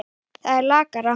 Það er lakara.